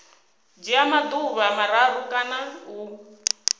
dzhia maḓuvha mararu kana u